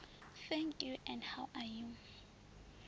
thank you and how are